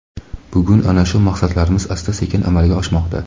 Bugun ana shu maqsadlarimiz asta-sekin amalga oshmoqda.